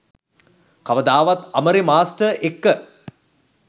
කවදාවත් අමරෙ මාස්ටර් එක්ක